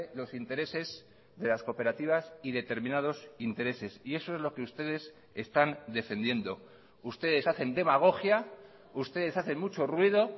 los intereses de las cooperativas y determinados intereses y eso es lo que ustedes están defendiendo ustedes hacen demagogia ustedes hacen mucho ruido